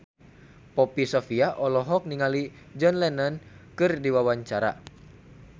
Poppy Sovia olohok ningali John Lennon keur diwawancara